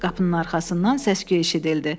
Qapının arxasından səs-küy eşidildi.